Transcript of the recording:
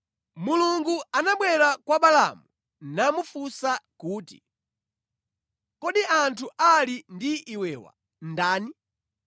Mulungu anabwera kwa Balaamu namufunsa kuti, “Kodi anthu ali ndi iwewa ndani?”